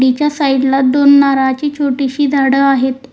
याच्या साईडला दोन नारळाची छोटीशी झाड आहेत.